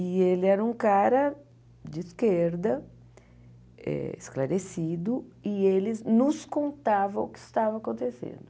E ele era um cara de esquerda, eh esclarecido, e ele nos contava o que estava acontecendo.